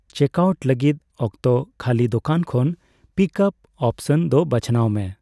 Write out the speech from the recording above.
Check out ᱞᱟᱹᱜᱤᱫ ᱚᱠᱛᱚ ᱠᱷᱟᱹᱞᱤ ᱫᱳᱠᱟᱱ ᱠᱷᱚᱱ ᱯᱤᱠᱼᱟᱯ' ᱚᱯᱥᱚᱱ ᱫᱚ ᱵᱟᱪᱷᱱᱟᱣ ᱢᱮ ᱾